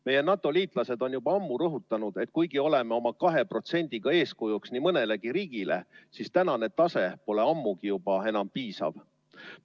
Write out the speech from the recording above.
Meie NATO‑liitlased on juba ammu rõhutanud, et kuigi oleme oma 2%‑ga eeskujuks nii mõnelegi riigile, siis tänane tase pole ammugi enam piisav.